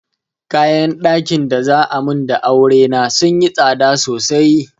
Kayan ɗakin da za'a mun da aure na sunyi tsada sosai.